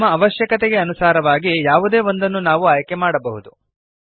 ನಮ್ಮ ಅವಶ್ಯಕತೆಗೆ ಅನುಸಾರವಾಗಿ ಯಾವುದೇ ಒಂದನ್ನು ನಾವು ಆಯ್ಕೆಮಾಡಬಹುದು